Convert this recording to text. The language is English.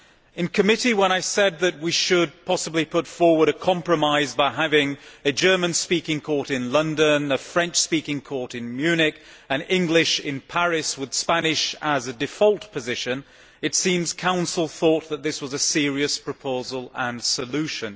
In committee, when I said that we should possibly put forward a compromise by having a German speaking court in London, a French speaking court in Munich and an English speaking one in Paris, with Spanish as a default position, it seems the Council thought that this was a serious proposal and solution.